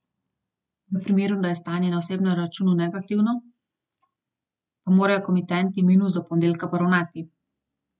V primeru, da je stanje na osebnem računu negativno, pa morajo komitenti minus do ponedeljka poravnati.